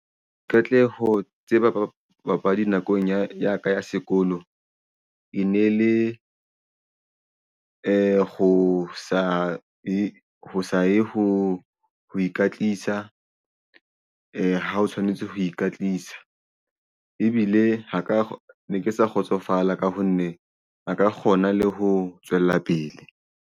Qete ho tseba papadi nakong ya ka ya sekolo e ne le ho sa ye ho ikatisa ha o tshwanetse ho ikatisa ebile ho ka ne ke sa kgotsofala ka ho nne a ka kgona le ho tswella pele.